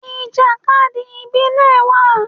Ìjàkadì ìbílẹ̀ wà.